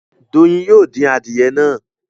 Doyin yóò dín Adìyẹ yén.